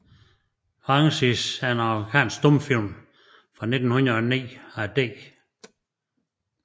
Francis er en amerikansk stumfilm fra 1909 af D